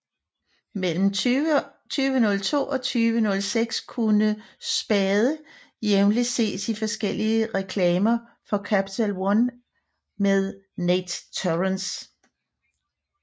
Mellem 2002 og 2006 kunne Spade jævnligt ses i forskellige reklamer for Capital One med Nate Torrence